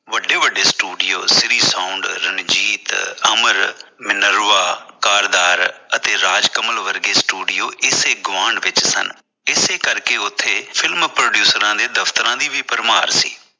ਵੱਡੇ-ਵੱਡੇ studio Shri Ranjit, Minerva, Kardar ਅਤੇ ਰਾਜਕਮਲ ਵਰਗੇ studio ਇਸੇ ਗੁਆਂਢ ਵਿਚ ਸਨ ਇਸੇ ਕਰਕੇ ਉਥੇ film producer ਨੇ ਉਥੇ ਦਫਤਰਾਂ ਦੀ ਵੀ ਭਰਮਾਰ ਸੀ।